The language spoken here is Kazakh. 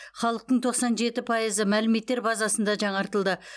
халықтың тоқсан жеті пайызы мәліметтер базасында жаңартылды